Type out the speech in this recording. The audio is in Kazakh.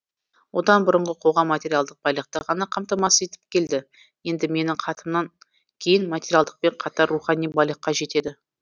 одан бұрынғы қоғам материалдық байлықты ғана қамтамасыз етіп келді енді менің хатымнан кейін материалдықпен қатар рухани байлыққа жетеді